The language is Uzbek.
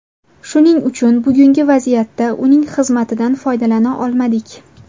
Shuning uchun bugungi vaziyatda uning xizmatidan foydalana olmadik.